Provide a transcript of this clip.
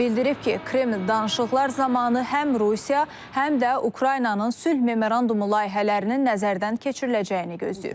Bildirib ki, Kreml danışıqlar zamanı həm Rusiya, həm də Ukraynanın sülh memorandumu layihələrinin nəzərdən keçiriləcəyini gözləyir.